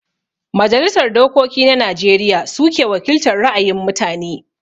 Majalisar Dokoki na Najeriya suke wakiltar ra'ayin mutane